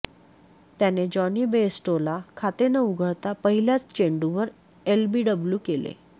त्याने जॉनी बेयस्टोला खाते न उघडता पहिल्याच चेंडूवर एलबीडब्ल्यू केले